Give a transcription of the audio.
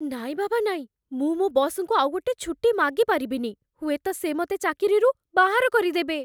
ନାଇଁ ବାବା ନାଇଁ, ମୁଁ ମୋ' ବସ୍‌ଙ୍କୁ ଆଉଗୋଟେ ଛୁଟି ମାଗିପାରିବିନି । ହୁଏତ ସେ ମତେ ଚାକିରିରୁ ବାହାର କରିଦେବେ ।